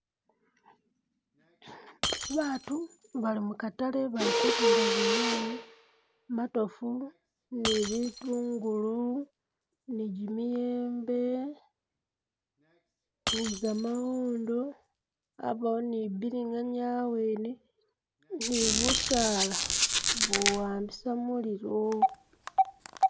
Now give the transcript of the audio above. Batu bali mukatale bili kutunda zinyanye , matofu ni bitungulu ni jimiyembe ni gamawondo yabawo ni bilinganya awene ni busala buwambisa mulilo.